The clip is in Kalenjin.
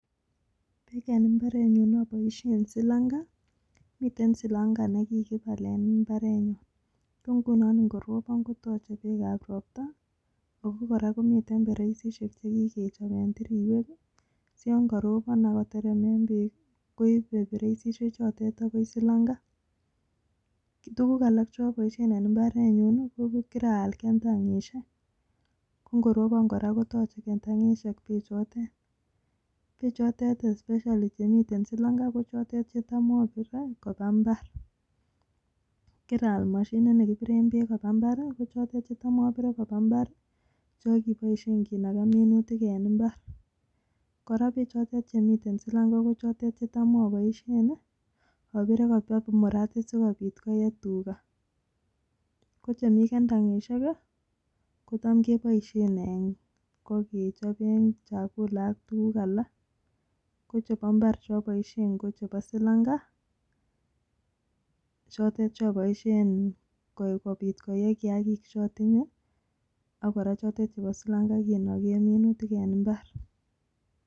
Eng mbareeet nyuun apaisheen silamgaa akomitei perchisheeek chotok amun kotebii Eng solanga salanga kot. misssing apaisheeen mechotok kopaaaa mbar apaisheen. mashiniaheeek. koterektaa peeek kopaaa mbareet